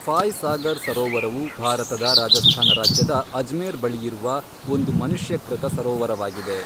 ಫಾಯ್ ಸಾಗರ್ ಸರೋವರವು ಭಾರತದ ರಾಜಸ್ಥಾನ ರಾಜ್ಯದ ಅಜ್ಮೇರ್ ಬಳಿಯಿರುವ ಒಂದು ಮನುಷ್ಯಕೃತ ಸರೋವರವಾಗಿದೆ.